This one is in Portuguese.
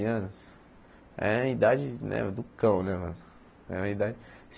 Anos é a idade do cão né mano é uma idade